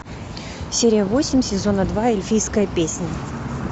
серия восемь сезона два эльфийская песнь